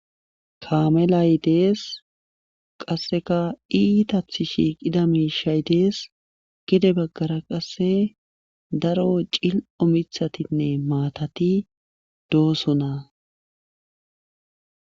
Kaamelay dees qasseka iitathi shi qida miishay dees gide baggara qasse daro cil7o mithatinne maatati doosona